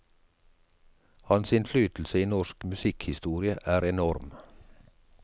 Hans innflytelse i norsk musikkhistorie er enorm.